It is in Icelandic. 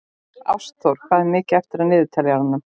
Ástþór, hvað er mikið eftir af niðurteljaranum?